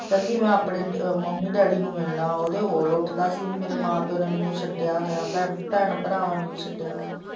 ਕਹਿੰਦੇ ਮੈਂ ਆਪਣੇ ਮੰਮੀ ਡੈਡੀ ਨੂੰ ਮਿਲਣਾ ਹੈ ਉਹਦੇ ਹੋਲ ਉੱਠਦਾ ਸੀ ਕਿ ਮੇਰੇ ਮਾਂ ਪਿਓ ਨੇ ਮੈਨੂੰ ਸੱਦਿਆ ਹੋਇਆ ਭੈਣ ਭਰਾਵਾਂ ਨੂੰ ਵੀ ਸੱਦਿਆ ਹੋਇਆ ਹੈ।